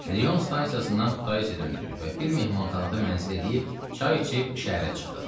Rion stansiyasından Kutaisiyə döndük və bir mehmanxanada mənzil eləyib çay içib şəhərə çıxdıq.